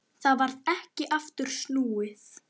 Það varð ekki aftur snúið.